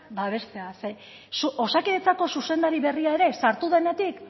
babestea zeren osakidetzako zuzendari berria ere sartu denetik